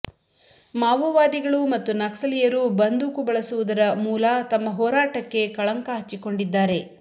ಮಾವೊವಾದಿಗಳು ಮತ್ತು ನಕ್ಸಲೀಯರು ಬಂದೂಕು ಬಳಸುವುದರ ಮೂಲ ತಮ್ಮ ಹೋರಾಟಕ್ಕೇ ಕಳಂಕ ಹಚ್ಚಿಕೊಂಡಿದ್ದಾರೆ